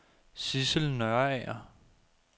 Sissel Nørager